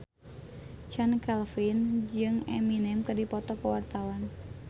Chand Kelvin jeung Eminem keur dipoto ku wartawan